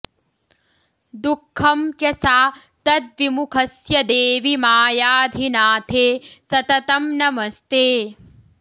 दुःखं च सा त्वद्विमुखस्य देवि मायाधिनाथे सततं नमस्ते